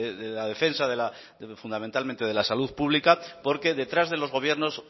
de la defensa fundamentalmente de la salud pública porque detrás de los gobiernos